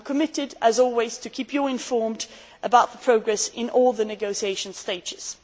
I am committed as always to keeping you informed about the progress in all the negotiation stages.